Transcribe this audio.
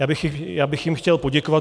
Já bych jim chtěl poděkovat.